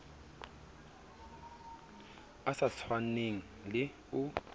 e sa tshwaneng le o